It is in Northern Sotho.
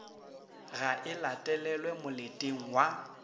ga e latelelwe moleteng wa